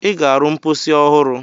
Ị ga-arụ mposi ọhụrụ!